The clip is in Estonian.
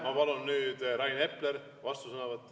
Ma palun nüüd, Rain Epler, vastusõnavõtt.